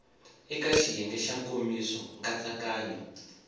eka xiyenge xa nkomiso nkatsakanyo